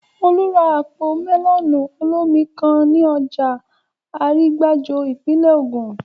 Olú ra àpò mẹ́lọ̀nù olómi kan ní ọjà Arígbájó, ìpínlè Ògùn